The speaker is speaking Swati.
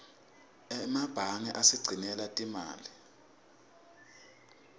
emebange asigcinela timali